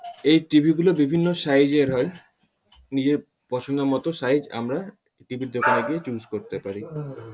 এই টি.ভি. -গুলো বিভিন্ন সাইজ -এর হয়। নিজের পছন্দ মত সাইজ আমরা টি.ভি. -র দোকানে গিয়ে চুস করতে পারি।